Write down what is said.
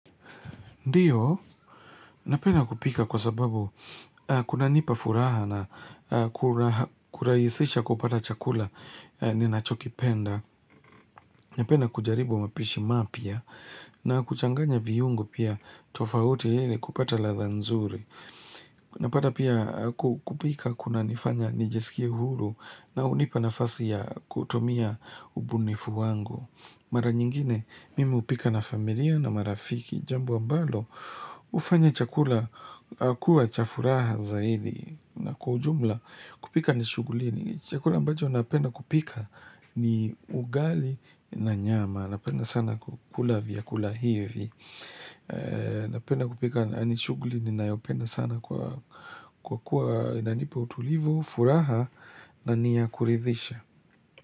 Ndio, napenda kupika kwa sababu kunanipa furaha na kura kurahisisha kupata chakula ninachokipenda. Napenda kujaribu mapishi mapya na kuchanganya viungo pia tofauti ili kupata ladha nzuri. Napata pia ku kupika kunanifanya niiesikia huru na hunipa nafasi ya kutumia ubunifu wangu. Mara nyingine mimi hupika na familia na marafiki Jambo ambalo hufanya chakula kuwa cha furaha zaidi Kwa ujumla kupika ni shughuli ni Chakula ambacho napenda kupika ni ugali na nyama Napenda sana kukula vyakula hivi Napenda kupika ni shughuli ninayopenda sana kwa kuwa inanipa utulivu, furaha na ni ya kuridhisha.